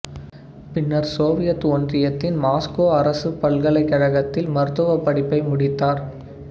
பின்னர் சோவியத் ஒன்றியத்தின் மாஸ்கோ அரசுப் பல்கலைக்கழகத்தில் மருத்துவப் படிப்பை முடித்தார்